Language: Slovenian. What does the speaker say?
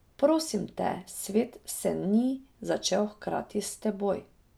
Prosim te, svet se ni začel hkrati s teboj.